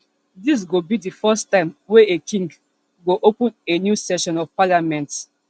dis go be di first time wey a king go open a new session of parliament